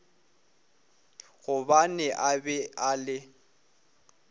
gobane a be a le